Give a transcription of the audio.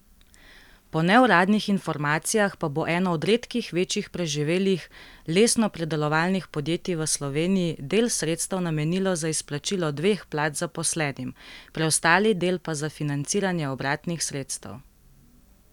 Po neuradnih informacijah pa bo eno od redkih večjih preživelih lesnopredelovalnih podjetij v Sloveniji del sredstev namenilo za izplačilo dveh plač zaposlenim, preostali del pa za financiranje obratnih sredstev.